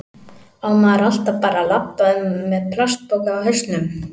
Á maður alltaf bara að labba um með plastpoka á hausnum?